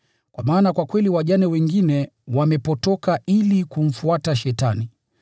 Kwa maana kwa kweli wajane wengine wamepotoka ili kumfuata Shetani.